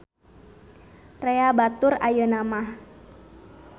Rea batur ayeuna mah.